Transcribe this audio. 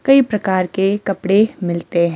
कई प्रकार के कपड़े मिलते हैं।